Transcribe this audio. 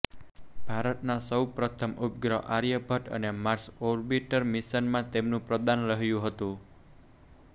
ભારતના સૌ પ્રથમ ઉપગ્રહ આર્યભટ્ટ અને માર્સ ઓર્બિટર મિશનમાં તેમનું પ્રદાન રહ્યું હતું